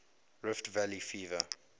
rift valley fever